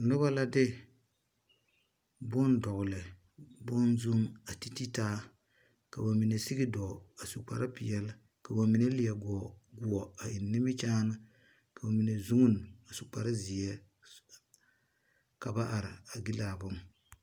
Nuba la de bun dɔgle bun zung a titi taa kaba mene sigi doo a su kpare peɛle ka ba mene lee guu a en nimikyaan ka ba mene zuin a su kpare zie ka ba arẽ a gili a bun.